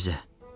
Gəl bizə.